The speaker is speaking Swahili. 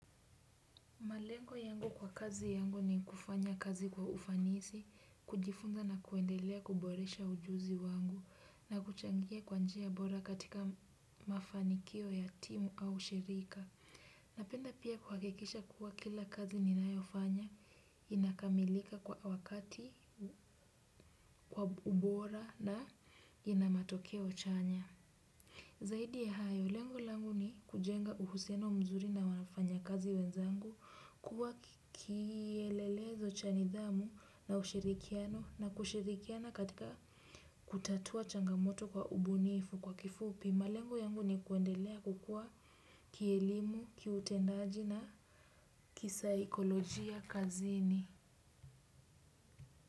Malengo yangu kwa kazi yangu ni kufanya kazi kwa ufanisi, kujifunza na kuendelea kuboresha ujuzi wangu na kuchangia kwa njia bora katika mafanikio ya timu au shirika. Napenda pia kuhakikisha kuwa kila kazi ninayo fanya, inakamilika kwa wakati, kwa ubora na ina matokeo chanya. Zaidi ya hayo, lengo langu ni kujenga uhuiano mzuri na wanafanya kazi wenzangu, kuwa kielelezo cha nidhamu na ushirikiano na kushirikiana katika kutatua changamoto kwa ubunifu kwa kifupi. Malengo yangu ni kuendelea kukua kielimu, kiutendaji na kisaikolojia kazini.